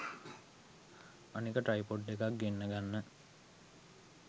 අනෙක ට්‍රයිපොඩ් එකක් ගෙන්න ගන්න